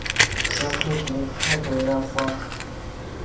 sa tlhokeng kgato ya fa